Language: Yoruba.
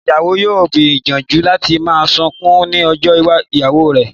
Ìyàwó yóò gbìyànjú láti má sunkún ní ọjọ́ ìgbéyàwó rẹ̀